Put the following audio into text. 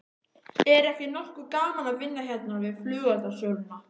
Er ekki nokkuð gaman að vinna hérna við flugeldasöluna?